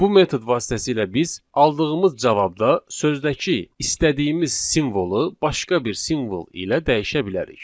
Bu metod vasitəsilə biz aldığımız cavabda sözdəki istədiyimiz simvolu başqa bir simvol ilə dəyişə bilərik.